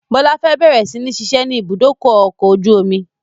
Bọlá fẹ́ bẹ̀rẹ̀ si ni ṣiṣẹ́ ni ibùdókọ̀ ọkọ̀ ojú omi